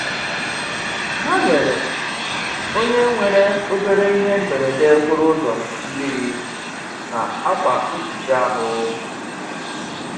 Ha nyere onye nwere obere ihe mberede okporoụzọ mmiri na akwa mkpuchi ahụ.